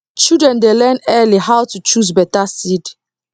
children dey learn early how to choose better seed